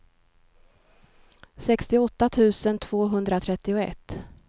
sextioåtta tusen tvåhundratrettioett